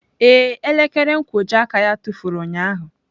Ee, elekere nkwojiaka ya tụfuru ụnyahụ.